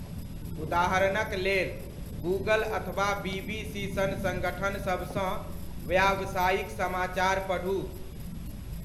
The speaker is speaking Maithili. उदाहरणक लेल, गूगल अथवा बीबीसी सन संगठन सभसँ व्यावसायिक समाचार पढू।